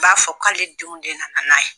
N b'a fɔ k'ale denw de nana n'a ye.